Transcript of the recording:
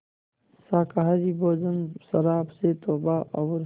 शाकाहारी भोजन शराब से तौबा और